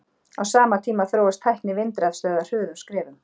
Á sama tíma þróast tækni vindrafstöðva hröðum skrefum.